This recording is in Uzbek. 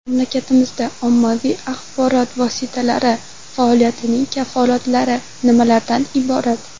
Mamlakatimizda ommaviy axborot vositalari faoliyatining kafolatlari nimalardan iborat?